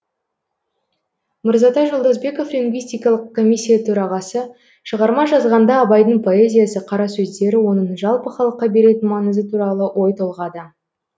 мырзатай жолдасбеков лингвистикалық комиссия төрағасы с шығарма жазғанда абайдың поэзиясы қара сөздері оның жалпы халыққа беретін маңызы туралы ой толғады